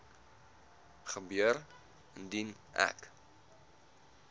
gebeur indien ek